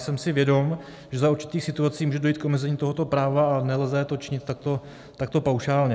Jsem si vědom, že za určitých situací může dojít k omezení tohoto práva a nelze to činit takto paušálně.